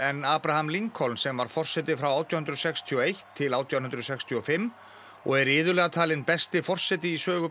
sem var forseti frá átján hundruð sextíu og eitt til átján hundruð sextíu og fimm og er iðulega talinn besti forseti í sögu Bandaríkjanna